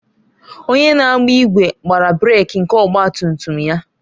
Onye na-agba igwe gbara brek nke ọgba tum tum ya